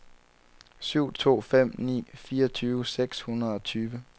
syv to fem ni fireogtyve seks hundrede og tyve